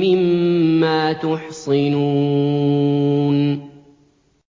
مِّمَّا تُحْصِنُونَ